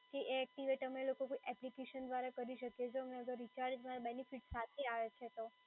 કે એ એક્ટિવેટ અમે લોકો બી એપ્લિકેશન દ્વારા કરી શકીએ, જો એ રિચાર્જ બેનીફીટ સાથે આવે છે તો?